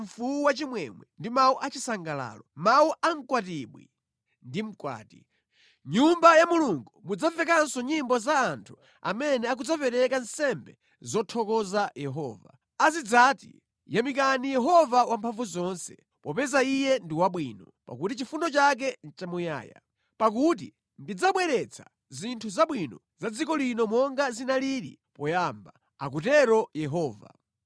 mfuwu wachimwemwe ndi mawu achisangalalo, mawu a mkwatibwi ndi mkwati. Mʼnyumba ya Mulungu mudzamvekanso nyimbo za anthu amene akudzapereka nsembe zothokoza Yehova. Azidzati, “Yamikani Yehova Wamphamvuzonse, popeza Iye ndi wabwino; pakuti chifundo chake nʼchamuyaya.” Pakuti ndidzabwezeretsa zinthu zabwino za dziko lino monga zinalili poyamba, akutero Yehova.